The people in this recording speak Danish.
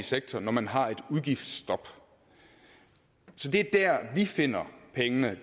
sektor når man har et udgiftsstop så det er der vi finder pengene